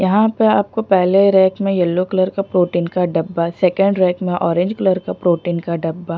यहाँ पर आपको पहले रेक में यलो कलर का प्रोटीन का डब्बा सेकंड रेक में ऑरेंज कलर का प्रोटीन का डब्बा--